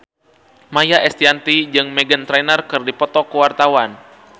Maia Estianty jeung Meghan Trainor keur dipoto ku wartawan